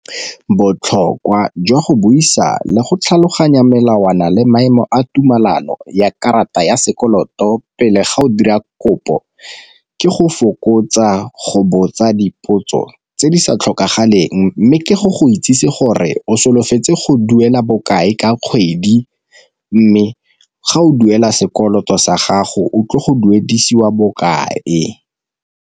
Botlhokwa jwa go buisa le go tlhaloganya melawana le maemo a tumelano ya karata ya sekoloto pele ga o dira kopo, ke go fokotsa go botsa dipotso tse di sa tlhokagaleng mme ke go go itsisi gore o solofetse go duela bokae ka kgwedi, mme ga o duela sekoloto sa gago o tlile go duedisiwa bokae.